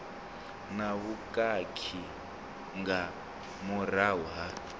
na vhukhakhi nga murahu ha